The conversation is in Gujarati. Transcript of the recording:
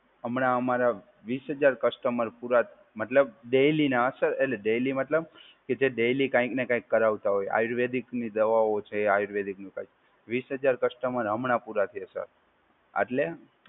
હમણાં અમારે વીસ હજાર કસ્ટમર પુરા, મતલબ ડૈલીના સર એટલે ડૈલી મતલબ કે જે ડૈલી કંઈક ને કંઈક કરાવતા હોય. આયુર્વેદિકની દવાઓ છે એ આયુર્વેદિકનું વીસ હજાર કસ્ટમર હમણાં થયા સર. આટલે